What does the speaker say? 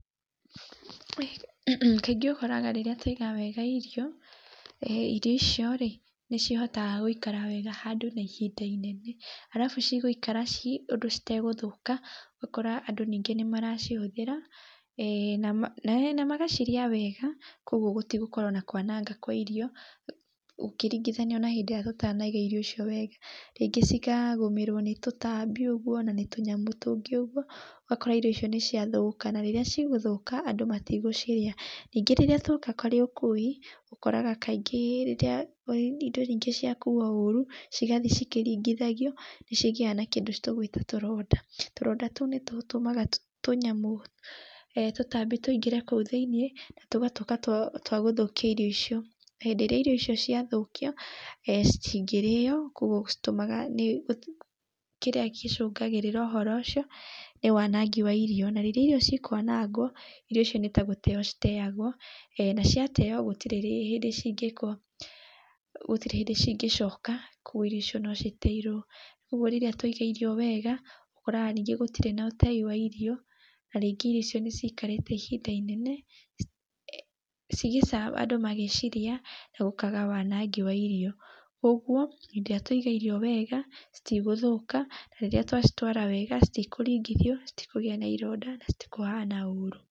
kaingĩ ũkoraga rĩrĩa twaiga wega irio, irio icio-rĩ nĩcihotaga gũikara wega handũ na ihinda inene, alafu cigũikara ũndũ citegũthũka, ũgakora andũ nĩmaracihũthira nĩ magacirĩa wega, koguo gũtigũkorwo na kwanangwo kwa irio ikĩringithanio na hingo ĩria tũtanaiga irio icio wega. Rĩngĩ cikagomerwo nĩ tũtambi ũguo na tũnyamũ tũngĩ ũguo, ũgakora irio icio nĩcia thũka, na rĩrĩa cigũthũka andũ matigũciria, ningĩ rĩrĩa tuoka kũrĩ ũkui, ũkoraga kaingĩ rĩrĩa rĩngĩ indo ciakuo ũru cigathiĩ cikĩringithagio nĩcigĩaga na tũronda, tũronda tũu nĩtũtũmaga tũnyamũ tũtambi tũingĩre kũu thĩiniĩ nĩ tũgatuika twa gũthũkia irio icio, na hĩndĩ ĩrĩa irio icio ciathũkio citingĩrĩo, koguo citũmaga nĩ kĩrĩa gĩcũngagĩrĩrĩa ũhoro ũcio nĩ wanangi wa irio na rĩrĩa irio cikwanagwo, irio icio nĩtagũteyo citeagwo, na ciateyo gũtirĩ hĩndĩ cingĩkwo, gũtirĩ hĩndĩ cigĩcoka kũguo irio icio nociteirwo. Ũguo rĩrĩa twaiga irio wega ũkoraga ningĩ gũtirĩ na ũtei wa irio, na rĩngi ĩrio icio nĩ cikarĩte ihinda inene andũ magĩciria na gũkaga wanangi wa irio. Koguo rĩrĩa twaiga irio wega, citigũthũka, nĩ rĩrĩa twacitwara wega citikũringithio, citikũgia na ironda, na citikũhana ũru.